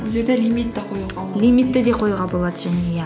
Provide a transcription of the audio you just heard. бұл жерде лимит те қоюға те қоюға болады және иә